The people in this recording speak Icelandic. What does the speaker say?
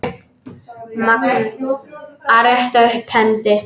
Magnús: Að rétta upp hendi.